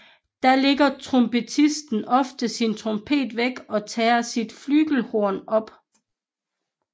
Da lægger trompetisten ofte sin trompet væk og tager sit flyghelhorn op